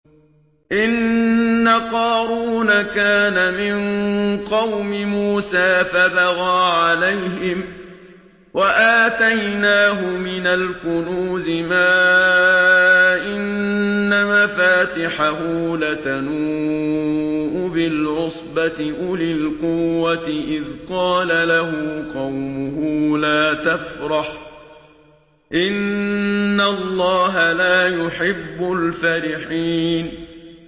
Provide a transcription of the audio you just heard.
۞ إِنَّ قَارُونَ كَانَ مِن قَوْمِ مُوسَىٰ فَبَغَىٰ عَلَيْهِمْ ۖ وَآتَيْنَاهُ مِنَ الْكُنُوزِ مَا إِنَّ مَفَاتِحَهُ لَتَنُوءُ بِالْعُصْبَةِ أُولِي الْقُوَّةِ إِذْ قَالَ لَهُ قَوْمُهُ لَا تَفْرَحْ ۖ إِنَّ اللَّهَ لَا يُحِبُّ الْفَرِحِينَ